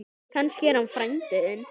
Kannski er hann frændi þinn.